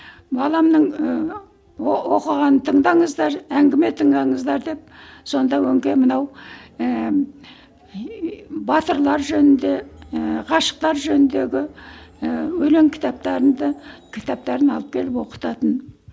баламның ыыы оқығанын тыңдаңыздар әңгіме тыңдаңыздар деп сонда өңкей мынау ііі батырлар жөнінде ііі ғашықтар жөніндегі ііі өлең кітаптарымды кітаптарын алып келіп оқытатын